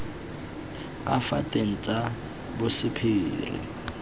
ka fa teng tsa bosephiri